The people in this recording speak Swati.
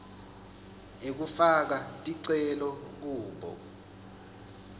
ekufaka ticelo kubo